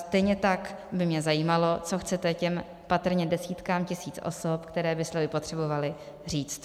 Stejně tak by mě zajímalo, co chcete těm patrně desítkám tisíc osob, které by slevy potřebovaly, říct?